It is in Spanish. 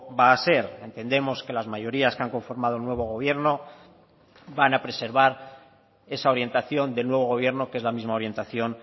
va a ser entendemos que las mayorías que han conformado el nuevo gobierno van a preservar esa orientación del nuevo gobierno que es la misma orientación